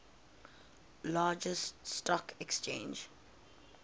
largest stock exchange